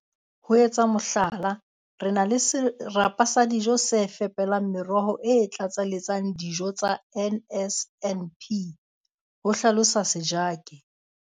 "Ho etsa mohlala, re na le serapa sa dijo se fepelang meroho e tlatseletsang dio tsa NSNP," ho hlalosa Sejake.